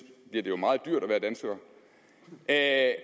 bliver det jo meget dyrt at